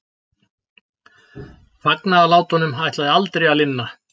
Fagnaðarlátunum ætlaði aldrei að linna.